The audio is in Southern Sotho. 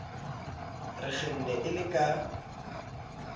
re kgenne e le ka